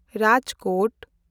Rajkot